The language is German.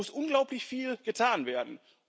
Da muss unglaublich viel getan werden.